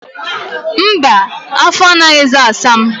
Mba, afọ anaghịzi asa m.